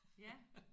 Ja